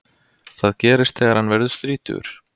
það gerist þegar hann verður þrítugur